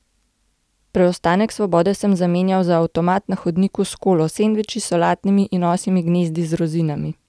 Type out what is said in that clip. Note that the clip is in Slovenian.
Preostanek svobode sem zamenjal za avtomat na hodniku s kolo, sendviči, solatami in osjimi gnezdi z rozinami.